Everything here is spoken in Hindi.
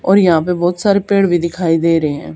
और यहां पे बहुत सारे पेड़ भी दिखाई दे रहे हैं।